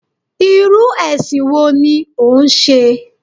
Irú èsìn wo ni o n se?